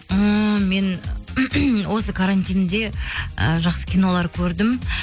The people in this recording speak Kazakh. ммм мен осы карантинде і жақсы кинолар көрдім